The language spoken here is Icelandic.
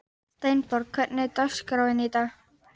Steinborg, hvernig er dagskráin í dag?